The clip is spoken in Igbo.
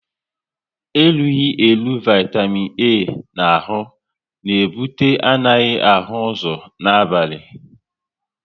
Erughi eru Vaitamin A na ahụ na ebute anaghị ahụ ụzọ n'abali